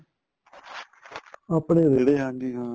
ਆਪਣੇ ਰੇੜੇ ਹਾਂਜੀ ਹਾਂ